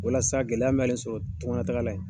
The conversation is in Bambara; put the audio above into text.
Walasa gɛlɛya min y'ale sɔrɔ tunga lataga la yen